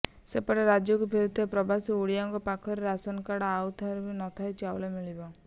ସେପଟେ ରାଜ୍ୟକୁ ଫେରୁଥିବା ପ୍ରବାସୀ ଓଡିଆଙ୍କ ପାଖରେ ରାସନକାର୍ଡ ଥାଉ କି ନଥାଉ ଚାଉଳ ମିଳିବ